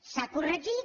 s’ha corregit